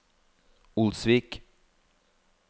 Olsvik